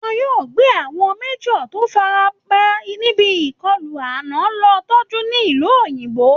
Wọ́n yóò gbé àwọn major tó farapa níbi ìkọlù ànà lọ tọ́jú ní ìlú òyìnbó